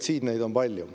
Siin on neid palju.